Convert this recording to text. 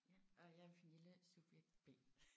Ja og jeg er Pernille subjekt B